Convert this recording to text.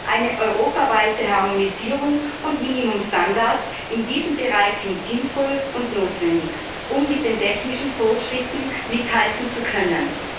Eine europaweite Harmonisierung und Minimumstandards in diesem Bereich sind sinnvoll und notwendig, um mit den technischen Fortschritten mithalten zu können.